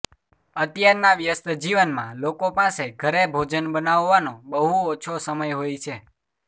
અત્યારના વ્યસ્ત જીવનમાં લોકોપાસે ઘરે ભોજન બનાવવાનો બહુ ઓછો સમય હોય છે